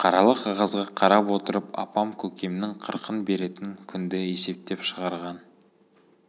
қаралы қағазға қарап отырып апам көкемнің қырқын беретін күнді есептеп шығарған